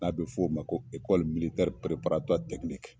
N'a bɛ f'o ma ko